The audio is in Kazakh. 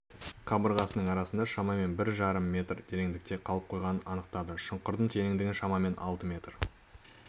қабырғасының арасында шамамен бір жарым метр тереңдікте қалып қойғаның анықтады шұңқырдың тереңдігі шамамен алты метр